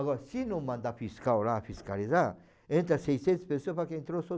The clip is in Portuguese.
Agora, se não mandar fiscal lá fiscalizar, entra seiscentas pessoas, vai que entrou só